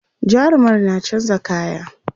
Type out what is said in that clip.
jarumar na chanza kaya